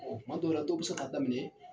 Ɔɔ kuma dɔw la dɔw be se k'a daminɛ